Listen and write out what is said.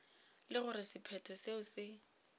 le gore sephetho seo se